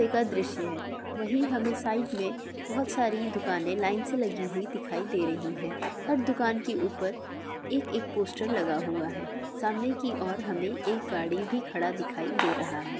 का दृश्य है वही हमे साइड में बहुत सारी दुकाने लाइन से लगी दिखाई दे रही है हर दुकान के ऊपर एक एक पोस्टर लगा हुआ है सामने की और हमे एक एक गाडी भी खड़ा दिखाई दे रहा है|